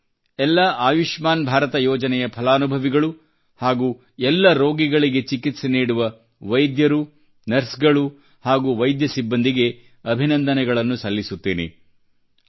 ನಾನು ಆಯುಷ್ಮಾನ್ ಭಾರತ ಯೋಜನೆಯ ಎಲ್ಲ ಫಲಾನುಭವಿಗಳು ಹಾಗೂ ಎಲ್ಲ ರೋಗಿಗಳಿಗೆ ಚಿಕಿತ್ಸೆ ನೀಡುವ ವೈದ್ಯರು ನರ್ಸ್ ಗಳು ಹಾಗೂ ವೈದ್ಯ ಸಿಬ್ಬಂದಿಗೆ ಅಭಿನಂದನೆಗಳನ್ನು ಸಲ್ಲಿಸುತ್ತೇನೆ